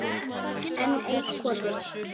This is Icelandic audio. Enn eitt kotið.